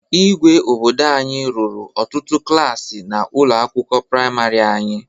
Igwe obodo anyị rụrụ ọtụtụ klaasị na ụlọ akwụkwọ praimarị anyị.